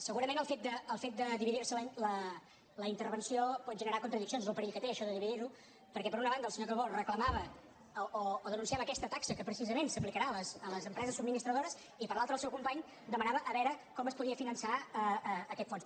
segurament el fet de dividir se la intervenció pot generar contradiccions és el perill que té això de dividir ho perquè per una banda el senyor calbó reclamava o denunciava aquesta taxa que precisament s’aplicarà a les empreses subministradores i per l’altra el seu company demanava a veure com es podia finançar aquest fons